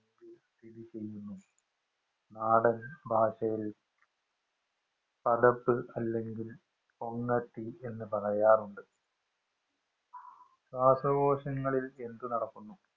നാടന്‍ ഭാഷയില്‍ അല്ലെങ്കില്‍ കൊങ്ങത്തി എന്ന് പറയാറുണ്ട്. ശ്വാസകോശങ്ങളില്‍ എന്ത് നടക്കുന്നു?